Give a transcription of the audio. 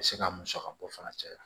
U bɛ se ka musaka bɔ fana caya